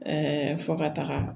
Ɛɛ fo ka taga